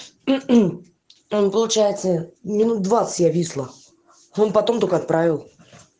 он получается минут двадцать я висла он потом только отправил